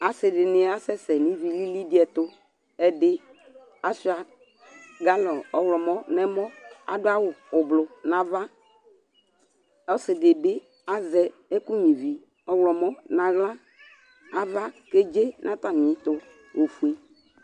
Asɩ dɩnɩ asɛsɛ nʋ ivi lili dɩ ɛtʋ Ɛdɩ asʋɩa galɔn ɔɣlɔmɔ nʋ ɛmɔ Adʋ awʋ ʋblʋ nʋ ava Ɔsɩ dɩ bɩ azɛ ɛkʋnyuǝ ivi ɔɣlɔmɔ nʋ aɣla Ava kedze nʋ atamɩɛtʋ ofue